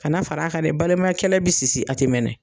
Ka na fara a kan dɛ, baliman kɛlɛ be sisi a te mɛnɛ.